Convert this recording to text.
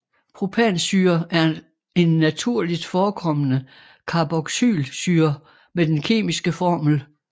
Propansyre er en naturligt forekommende carboxylsyre med den kemiske formel